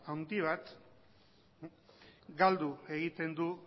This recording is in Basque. handi bat galdu egiten du